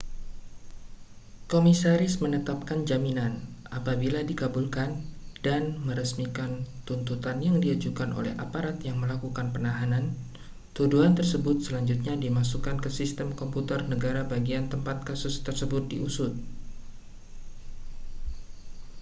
komisaris menetapkan jaminan apabila dikabulkan dan meresmikan tuntutan yang diajukan oleh aparat yang melakukan penahanan tuduhan tersebut selanjutnya dimasukkan ke sistem komputer negara bagian tempat kasus tersebut diusut